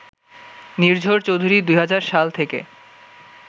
নির্ঝর চৌধুরী ২০০০ সাল থেকে